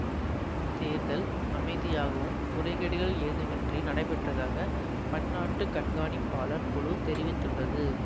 இத்தேர்தல் அமைதியாகவும் முறைகேடுகள் எதுவும் இன்றி நடைபெற்றதாக பன்னாட்டு கண்காணிப்பாளர் குழு தெரிவித்துள்ளது